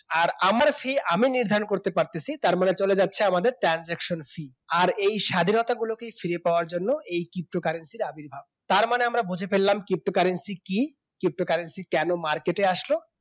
আর আমার fee আমি নির্ধারণ করতে পারতেছি তারমানে চলে যাচ্ছে আমাদের transaction fee, আর এই স্বাধীনতা গুলোকেই ফিরে পাওয়ার জন্য এই ptocurrency র আবির্ভাব তার মানে আমরা বুঝে ফেললাম ptocurrency কি ptocurrency কেন market আসলো